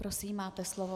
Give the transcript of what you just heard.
Prosím, máte slovo.